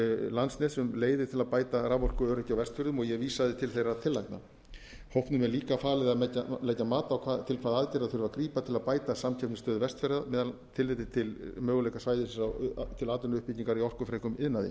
landsnets um leiðir til að bæta raforkuöryggi á vestfjörðum og ég vísaði til þeirra tillagna hópnum er líka falið að leggja mat á til hvaða aðgerða þurfi að grípa til að bæta samkeppnisstöðu vestfjarða með tilliti til möguleika svæðisins til atvinnuuppbyggingar í orkufrekum iðnaði